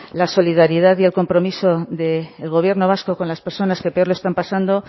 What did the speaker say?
la solidaridad y el compromiso del gobierno vasco con las personas que peor lo están pasando